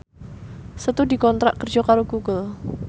Setu dikontrak kerja karo Google